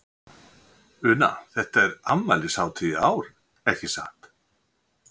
Una, þetta er afmælishátíð í ár, ekki satt?